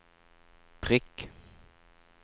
prikk